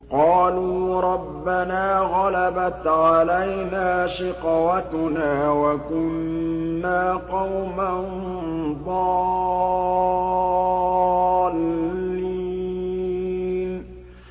قَالُوا رَبَّنَا غَلَبَتْ عَلَيْنَا شِقْوَتُنَا وَكُنَّا قَوْمًا ضَالِّينَ